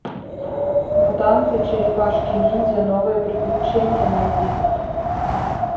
мутанты черепашки ниндзя новые приключения найди